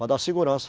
Para dar segurança.